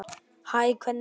Hæ, hvernig líður þér?